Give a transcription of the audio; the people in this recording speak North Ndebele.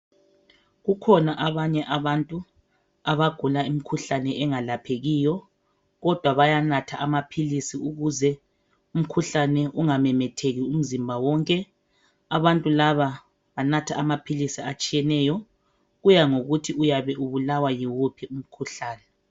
Kukhona abanye abantu abagula imikhuhlane engalaphekiyo kodwa bayanatha amaphilisi ukuze umkhuhlane ungamemetheki umzimba wonke abantu laba banatha amaphilisi atshiyeneyo kuya ngokuthi uyabe ubulawa yiwuphi umkhuhlane